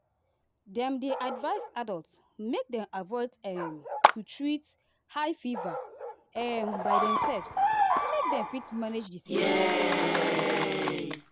dem dey advise adults make dem avoid um to treat high fever um by demselves make dem fit manage di symptoms get beta quick.